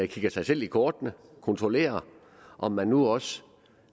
kigger sig selv i kortene kontrollerer om man nu også